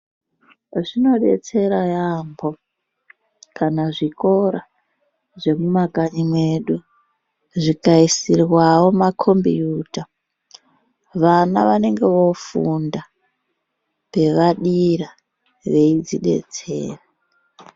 Zvinodetsera yambo kana zvikora zvemumakanyi mwedu zvikaisirwawo makombiuta vana vanenge vofunda pavadira veidzidetsera.